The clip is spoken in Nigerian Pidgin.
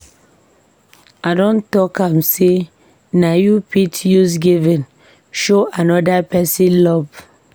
I don tok am sey you fit use giving show anoda pesin love.